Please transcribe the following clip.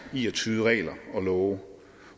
i at tyde regler og love